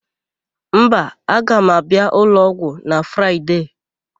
Mba, aga m abịa ụlọọgwụ na Fraịde.